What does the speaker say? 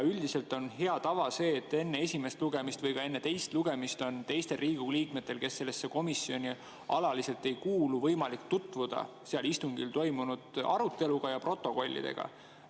Üldiselt on hea tava see, et enne esimest lugemist või ka enne teist lugemist on teistel Riigikogu liikmetel, kes sellesse komisjoni alaliselt ei kuulu, võimalik tutvuda seal istungil toimunud arutelu ja protokollidega.